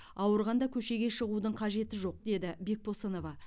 ауырғанда көшеге шығудың қажеті жоқ деді бекбосынова